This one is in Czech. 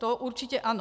To určitě ano.